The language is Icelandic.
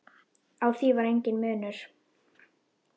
Á því var enginn munur.